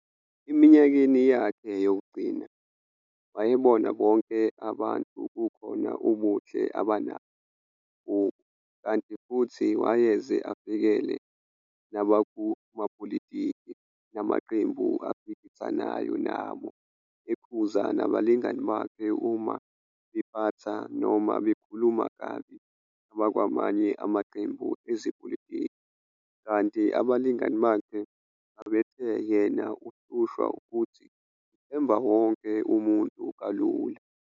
Eminyakeni yakhe yokugcina, wayebona bonke abantu kukhona ubuhle abanabo kubo, kanti futhi wayeze avikele nabakumapolitiki namaqembu aphikisanayo nabo, ekhuza nabalingani bakhe uma bephatha noma bekhuluma kabi abakwamanye amaqembu ezepolitiki, kanti abalingani bakhe babethe yena uhlushwa ukuthi uthemba wonke umuntu kalula.